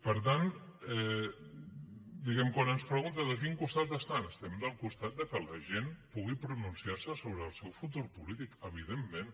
per tant diguem ne quan ens pregunta de quin costat estan estem del costat de que la gent pugui pronunciar se sobre el seu futur polític evidentment